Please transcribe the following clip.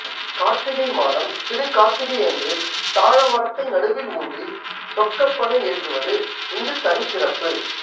கார்த்திகை மாதம் திருக்கார்த்திகை அன்று தாழ மரத்தை நடுவில் ஊன்றி சொக்கப்பனை ஏற்றுவது இங்கு தனிச்சிறப்பு